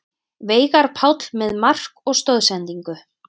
Veigar Páll með mark og stoðsendingu